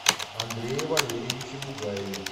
андрее валерьевиче бугаеве